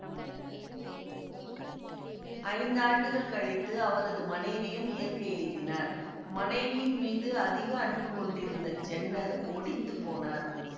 ஐந்து ஆண்டுகள் கழித்து அவரது மனைவியும் இயற்கை எய்தினார் மனைவியின் மீது அதிக அன்பு கொண்டிருந்த ஜென்னர் ஒடிந்து போனார்